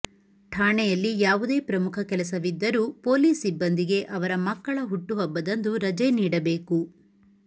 ಠಾಣೆಯಲ್ಲಿ ಯಾವುದೇ ಪ್ರಮುಖ ಕೆಲಸವಿದ್ದರೂ ಪೊಲೀಸ್ ಸಿಬ್ಬಂದಿಗೆ ಅವರ ಮಕ್ಕಳ ಹುಟ್ಟುಹಬ್ಬದಂದು ರಜೆ ನೀಡಬೇಕು